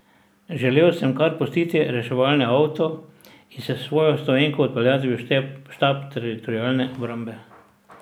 Želel sem kar pustiti reševalni avto in se s svojo stoenko odpeljati v štab Teritorialne obrambe.